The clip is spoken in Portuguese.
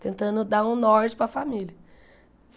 tentando dar um norte para a família.